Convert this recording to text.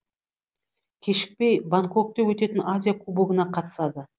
кешікпей бангкокта өтетін азия кубогына қатысады